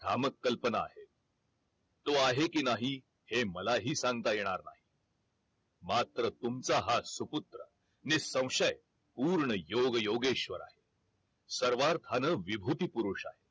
भा मक कल्पना आहे तो आहे कि नाही हे मलाही सांगता येणार नाही मात्र तुमचा हा सुपुत्र निसंशय पूर्ण योग योगेश्वर आहे सर्वार्थानं विभूती पुरुष आहे